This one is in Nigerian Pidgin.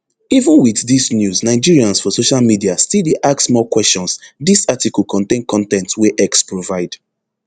even wit dis news nigerians for social media still dey ask more kwesions dis article contain con ten t wey x provide